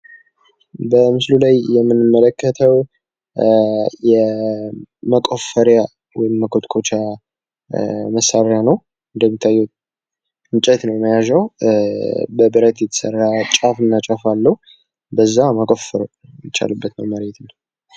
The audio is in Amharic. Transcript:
ለተለያዩ የእጅ ሥራዎችና ጥገናዎች የሚያስፈልጉ እንደ መዶሻና ስክራውድራይቨር ያሉ ነገሮች።